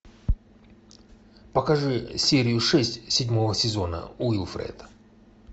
покажи серию шесть седьмого сезона уилфред